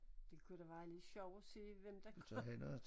Det kunne da være lidt sjovt at se hvem der